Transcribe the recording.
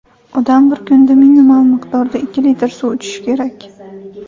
Odam bir kunda minimal miqdorda ikki litr suv ichishi kerak.